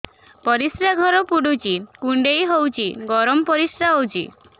ପରିସ୍ରା ଘର ପୁଡୁଚି କୁଣ୍ଡେଇ ହଉଚି ଗରମ ପରିସ୍ରା ହଉଚି